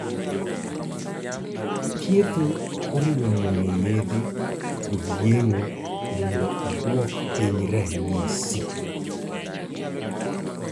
thiedho oriwo muonyo yedhe kod yeng'o mondo odwok piny ranyisi